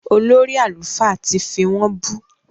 Olórí àlùfáà tì fí wọ́n bú